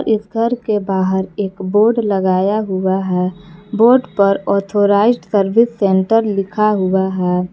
इस घर के बाहर एक बोर्ड लगाया हुआ है बोर्ड पर ऑथराइज्ड सर्विस सेंटर लिखा हुआ है।